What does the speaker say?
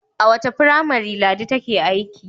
A wace firamare Ladi take aiki?